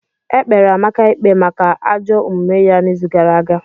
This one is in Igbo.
E kpere Amaka ikpe maka ajọ omume ya n'izu gara aga.